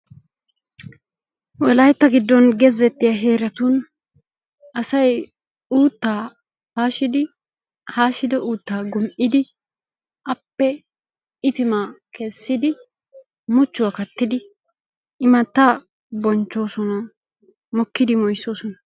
wolaytta giddon gezettiya heeratun asay uuttaa haashidi haashido uutaa gum'idi appe itimaa kessidi muchuwa kattidi imataa mokidi mooyisoosona.